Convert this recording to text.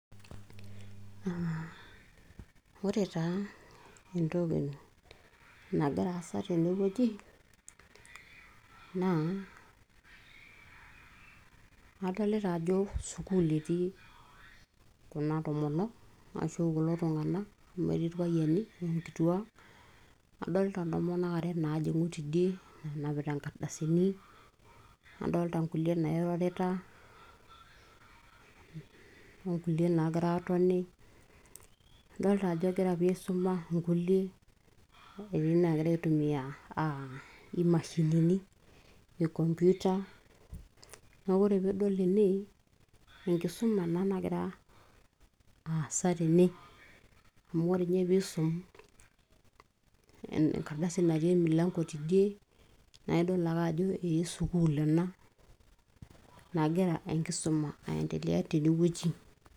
aa ore taa entoki nagira aasa tenewueji naa adolita ajo sukuul etii kuna tomonok ashu kulo tung'anak amu etii irpayiani onkituak adolita intomonok are naajing'u tidie enapita inkardasini nadolta nkulie nairorita onkulie naagira aatoni adolta ajo egira pii aisuma inkulie etii naagira aitumia imashinini e computer neeku ore piidol ene enkisuma ena nagira aasa tene amu ore ninye piisum enkardasi natii e milango tidie naa idol ake ajo ee sukuul ena nagira enkisuma ae endelea tenewueji.